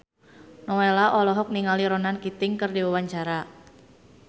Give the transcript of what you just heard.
Nowela olohok ningali Ronan Keating keur diwawancara